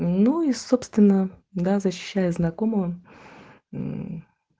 ну и собственно да защищая знакомого